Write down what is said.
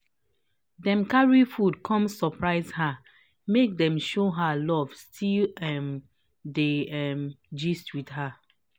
him just carry tea come give her um to show love.